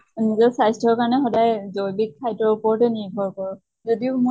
নিজৰ স্বাস্থ্য়ৰ কাৰণে সদায় জৈৱীক খাদ্য়ৰ ওপৰতে নৰ্ভৰ কৰোঁ। যদিও মই